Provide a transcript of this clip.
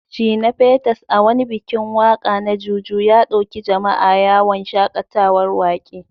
Shina Peters, a wani bikin waka na Juju, ya dauki jama’a yawon shakatawar wake.